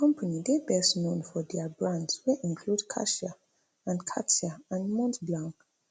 di company dey best known for dia brands wey include cartier and cartier and montblanc